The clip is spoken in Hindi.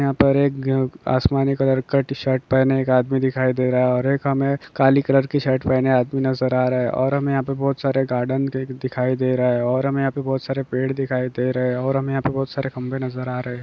यहाँ पर एक आसमानी कलर का टी शर्ट पहने एक आदमी दिखाई दे रहा है। और एक हमें काली कलर की शर्ट पहन आदमी नजर आ रहा हैं। और हमें यहाँ बहुत सारे गार्डन दिखाई दे रहे हैं। और हमें यहाँ बहुत सारे पेड़ दिखाई दे रहे हैं। और हमें यहाँ बहुत सारे खंबे नजर आ रहे हैं।